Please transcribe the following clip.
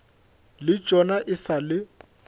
le tšona e sa le